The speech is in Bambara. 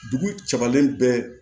Dugu cagalen bɛɛ